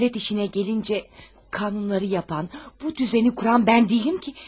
Dövlət işinə gəlincə, qanunları yapan, bu düzəni quran mən deyiləm ki?